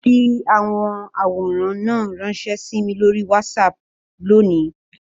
Fi awọn aworan náà ranṣẹ si mi lori WhatsApp loni!